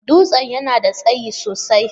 Dutsen yana da tsayi sosai.